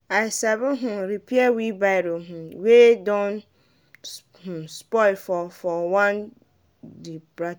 i sabi um repair wheelbarrow um wey don um spoil for for one di practical.